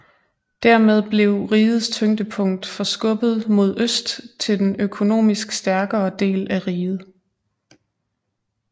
Dermed blev rigets tyngdepunkt forskubbet mod øst til den økonomisk stærkere del af riget